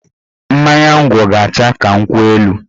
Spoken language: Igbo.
Mmanya ngwọ ga-acha ka nkwụ elu